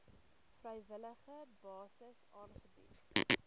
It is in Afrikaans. vrywillige basis aangebied